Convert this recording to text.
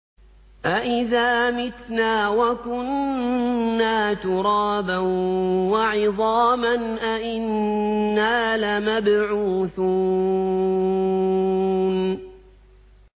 أَإِذَا مِتْنَا وَكُنَّا تُرَابًا وَعِظَامًا أَإِنَّا لَمَبْعُوثُونَ